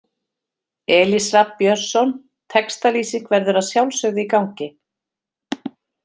Elís Rafn Björnsson Textalýsing verður að sjálfsögðu í gangi.